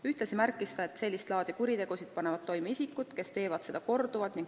Ühtlasi märkis Jaak Madison, et sellist laadi kuritegusid panevad tihti toime isikud, kes teevad seda korduvalt.